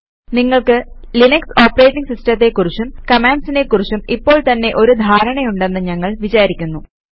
നിങ്ങൾക്ക് Linux operating സിസ്റ്റത്തെ കുറിച്ചും കമാൻഡ്സിനെ കുറിച്ചും ഇപ്പോള് തന്നെ ഒരു ധാരണയുണ്ടെന്ന് ഞങ്ങൾ വിചാരിക്കുന്നു